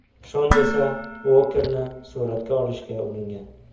Shon esa Uokerni suratga olishga uringan.